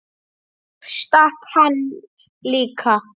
Ég stakk hann líka.